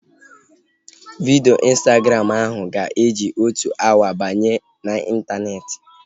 Vidio Instagram ahu ga-eji otu awa banye n'intaneeti